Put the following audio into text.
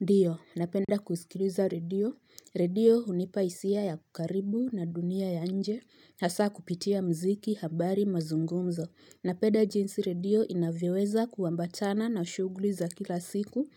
Ndio. Napenda kusikiliza radio. Radio unipa hisia ya kukaribu na dunia ya nje. Hasa kupitia mziki habari mazungumzo. Napenda jinsi radio inavoweza kuwambatana na ushuguli za kila siku